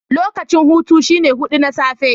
Lokacin hutu shine hudu na safe.